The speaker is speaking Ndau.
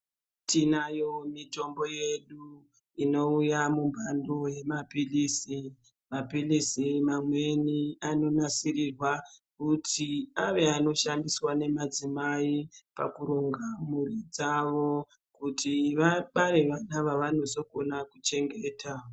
Tinayo mitombo yedu inouya mumbando yemaphilizi. Maphilizi mamweni anonasirirwa kuti ave anoshandiswa ngemadzimai pakuringa mhuri dzavo kuti vabara vana vavanozogona kuchengeta.